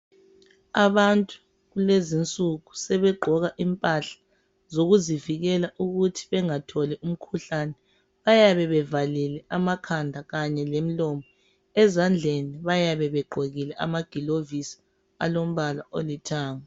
abantu lezinsuku sebegqoka impahla zokuzivikela ukuthi bengatholi umkhuhlane baybe bevalile amakhanda kanye lemlomo ezandleni bayabe begqokile amagilovisi alombala olithanga